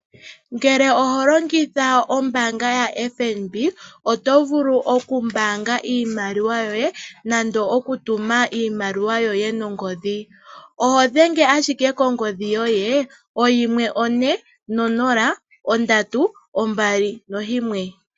Ngele oho longitha ombaanga yaFNB oto vulu oku mbaanga iimaliwa yoye nande oku tuma iimaliwa yoye nongodhi. Oho dhenge ashike kongodhi yoye oyimwe, one nonola, ondatu, ombali noyimwe.